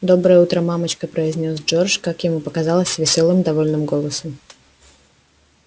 доброе утро мамочка произнёс джордж как ему показалось весёлым довольным голосом